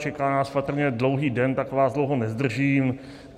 Čeká nás patrně dlouhý den, tak vás dlouho nezdržím.